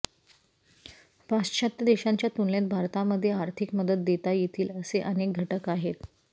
पाश्चात्य देशांच्या तुलनेत भारतामध्ये आर्थिक मदत देता येतील असे अनेक घटक आहेत